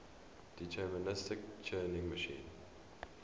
deterministic turing machine